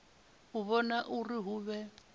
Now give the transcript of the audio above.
u vhona uri hu vhe